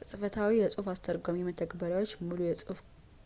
ቅጽበታዊ የጽሑፍ አስተርጓሚ መተግበሪያዎች ሙሉ የጽሑፍ